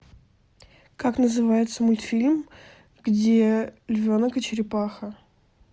как называется мультфильм где львенок и черепаха